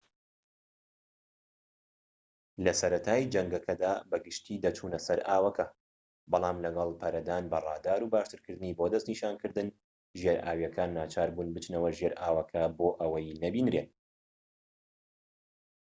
لە سەرەتای جەنگەکەدا بە گشتی دەچونە سەر ئاوەکە بەڵام لەگەڵ پەرەدان بە ڕادار و باشترکارکردنی بۆ دەستنیشانکردن ژێرئاویەکان ناچاربوون بچنەوە ژێر ئاوەکە بۆ ئەوەی نەبینرێن